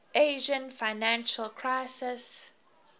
asian financial crisis